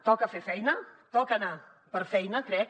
toca fer feina toca anar per feina crec